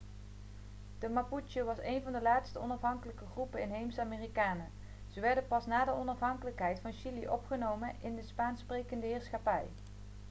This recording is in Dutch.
de mapuche was een van de laatste onafhankelijke groepen inheemse amerikanen ze werden pas na de onafhankelijkheid van chili opgenomen in de spaanssprekende heerschappij